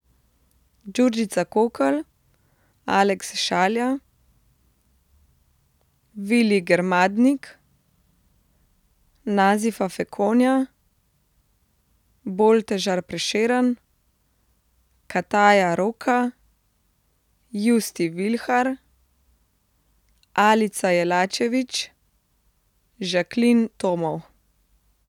Đurđica Kokl, Alex Šalja, Willi Germadnik, Nazifa Fekonja, Boltežar Prešeren, Kataya Roka, Justi Vilhar, Alica Jelačević, Jacqueline Tomov.